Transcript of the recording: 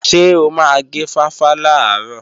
Ṣé o máa gé fáfá làárọ̀?